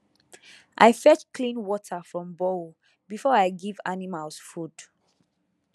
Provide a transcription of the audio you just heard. i fetch clean water from borehole before i give animals food